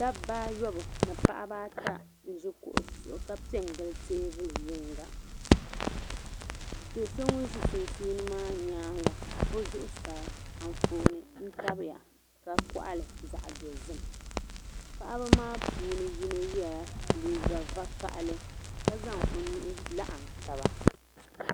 Dabbaayɔbu ni Paɣabaata n ʒi bɛ kuɣusi zuɣu ka pɛ n gili li teebuli yinga do so ŋun ʒi sunsuuni maa nyaaŋa o zuɣu saa anfooni n tabi ya ka koɣali zaɣdozim Paɣaba maa puuni yino yela liiga vakaɣali ka zaŋ o nuhi laɣim taba.